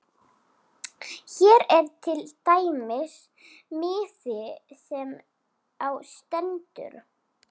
Hér er til dæmis miði sem á stendur